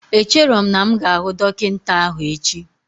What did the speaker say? Echero m na'm ga ahu Dokinta ahu echi